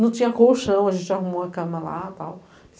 Não tinha colchão, a gente arrumou a cama lá e tal.